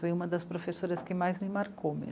Foi uma das professoras que mais me marcou